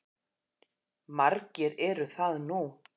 Margir eru það nú.